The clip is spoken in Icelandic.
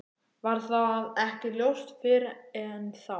Varð það ekki ljóst fyrr en þá.